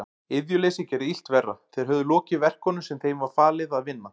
Iðjuleysið gerði illt verra, þeir höfðu lokið verkunum sem þeim var falið að vinna.